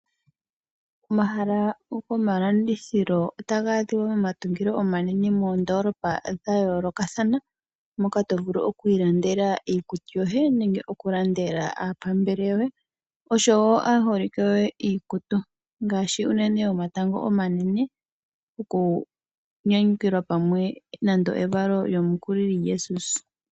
Omahala goma landithilo ota gaa adhiwa momatungo onanene moondoolopa dha yoolokathana, moka to vulu okwiilandela iikutu yoye nenge oku landela aapambele yoye, osho wo aaholike yoye iikutu ngaashi uunene yomatango omanene okunyanyukilwa pamwe nande evalo lya Jesus.